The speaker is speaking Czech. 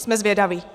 Jsme zvědaví.